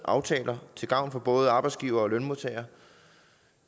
aftale med arbejdsgiveren man har